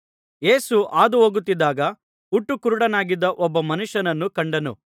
ಯೇಸು ಹಾದು ಹೋಗುತ್ತಿದ್ದಾಗ ಹುಟ್ಟು ಕುರುಡನಾಗಿದ್ದ ಒಬ್ಬ ಮನುಷ್ಯನನ್ನು ಕಂಡನು